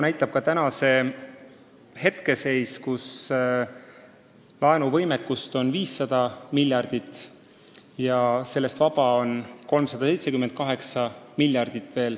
Hetkeseis on selline, et laenuvõimekust on 500 miljardit, sellest on veel vaba 378 miljardit.